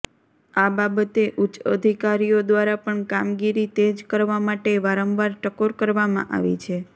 આ બાબતે ઉચ્ચ અધિકારીઓ દ્વારા પણ કામગીરી તેજ કરવા માટે વારંવાર ટકોર કરવામાં આવી છે